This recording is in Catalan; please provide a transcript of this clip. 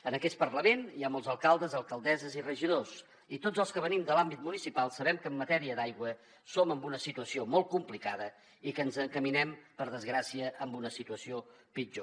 en aquest parlament hi ha molts alcaldes alcaldesses i regidors i tots els que venim de l’àmbit municipal sabem que en matèria d’aigua som en una situació molt complicada i que ens encaminem per desgràcia a una situació pitjor